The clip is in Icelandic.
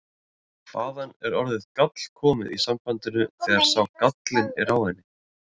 Hvaðan er orðið gáll komið í sambandinu þegar sá gállinn er á henni?